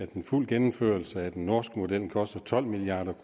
den fulde gennemførelse af den norske model koster tolv milliard